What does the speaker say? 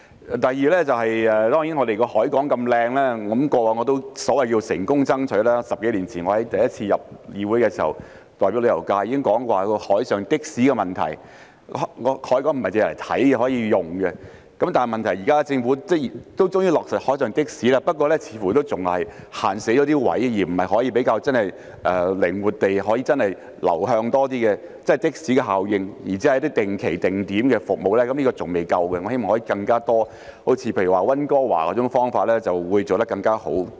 第二，香港的海港很美，我在10多年前代表旅遊界進入議會時，已提出海上的士的建議，海港不是只作觀賞，也可以使用，政府現在終於落實海上的士，我亦算成功爭取，但始終有位置的限制，不能真正靈活地利用海上的士增加流動效應，只有定期定點服務並不足夠，我希望可以拓展服務範圍，例如效法溫哥華的做法會更加好。